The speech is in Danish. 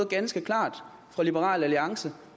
ganske klart fra liberal alliance